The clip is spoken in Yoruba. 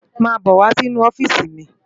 Má bò wá nú òfisi mi